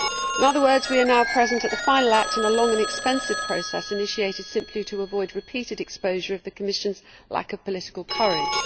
In other words, we are now present at the final act in a long and expensive process initiated simply to avoid repeated exposure of the Commission's lack of political courage.